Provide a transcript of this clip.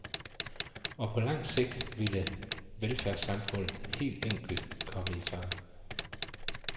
Og på lang sigt ville velfærdssamfundet helt enkelt komme i fare.